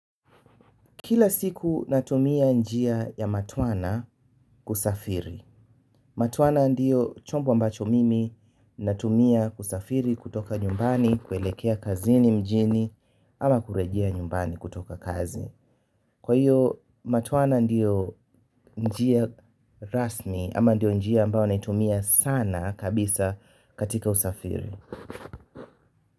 Kila siku natumia njia ya matwana kusafiri. Matatu ndio chombo ambacho mimi natumia kusafiri kutoka nyumbani kuelekea kazini mjini ama kurejea nyumbani kutoka kazini. Kwa hiyo matwana ndiyo njia rasmi ama ndiyo njia ambayo natumia sana kabisa katika usafiri.